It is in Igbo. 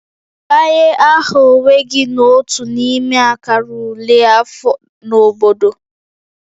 Debanye aha onwe gị n'otu n'ime akara ule afọ na obodo